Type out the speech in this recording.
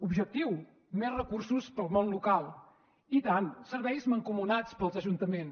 objectiu més recursos per al món local i tant serveis mancomunats per als ajuntaments